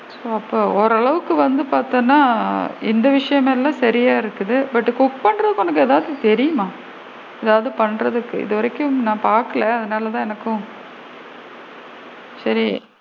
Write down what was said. ஓ! அப்ப ஓரளவுக்கு வந்து பாத்தீனா induction லா வந்து சரியா இருக்குது but cook பண்றதுக்கு உனக்கு ஏதாவது தெரியுமா? ஏதாவது பண்றதுக்கு இது வரைக்கும் நான் பாக்கல அதனால தான் எனக்கும் சேரி,